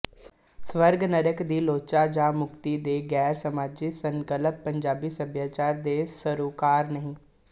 ਸਵਰਗ ਨਰਕ ਦੀ ਲੋਚਾ ਜਾ ਮੁਕਤੀ ਦੇ ਗੈਰ ਸਮਾਜੀ ਸੰਕਲਪ ਪੰਜਾਬੀ ਸੱਭਿਆਚਾਰ ਦੇ ਸਰੋਕਾਰ ਨਹੀਂ